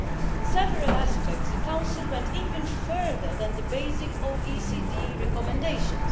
In several aspects the Council went even further than the basic OECD recommendations.